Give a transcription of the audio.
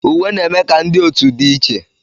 Uwe na-eme ka ndị otu dị iche.